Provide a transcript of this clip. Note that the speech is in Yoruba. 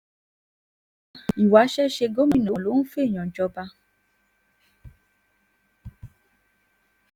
ìwáṣẹ̀ ṣe gómìnà ló ń fẹ́ẹ̀yàn jọba